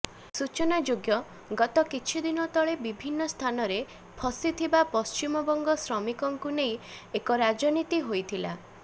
ସୂଚନାଯୋଗ୍ୟ ଗତ କିଛିଦିନ ତଳେ ବିଭିନ୍ନ ସ୍ଥାନରେ ଫସିଥିବା ପଶ୍ଚିମବଙ୍ଗ ଶ୍ରମିକଙ୍କୁ ନେଇ ଅେକ ରାଜନୀତି ହୋଇଥିଲା